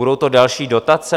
Budou to další dotace?